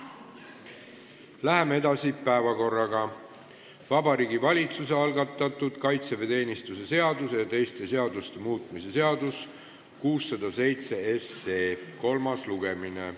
Läheme päevakorraga edasi: Vabariigi Valitsuse algatatud kaitseväeteenistuse seaduse ja teiste seaduste muutmise seaduse eelnõu 607 kolmas lugemine.